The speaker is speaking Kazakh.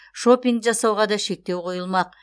шопинг жасауға да шектеу қойылмақ